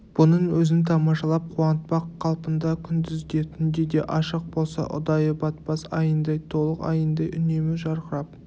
бұның өзін тамашалатып қуантпақ қалпында күндіз де түнде де ашық болса ұдайы батпас айындай толық айындай үнемі жарқырап